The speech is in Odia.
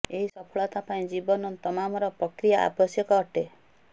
ଏହି ସଫଳତା ପାଇଁ ଜୀବନ ତମାମର ପ୍ରକ୍ରିୟା ଆବଶ୍ୟକ ଅଟେ